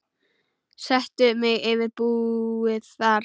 Settu mig yfir búið þar.